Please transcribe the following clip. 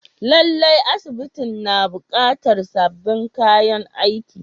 Lallai, asibitin na buƙatar sabbin kayan aiki.